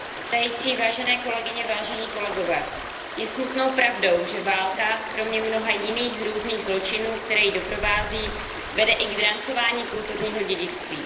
Pane předsedající, vážené kolegyně, vážení kolegové, je smutnou pravdou, že válka, kromě mnoha jiných hrůzných zločinů, které ji doprovází, vede i k drancování kulturního dědictví.